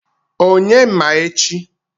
Onye ma echi?